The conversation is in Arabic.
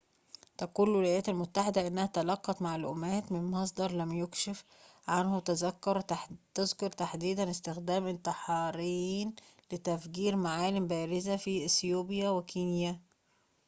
تقول الولايات المتّحدة إنها تلقّت معلوماتٍ من مصدرٍ لم يُكشف عنه تذكر تحديدًا استخدام انتحاريين لتفجير معالم بارزة في إثيوبيا وكينيا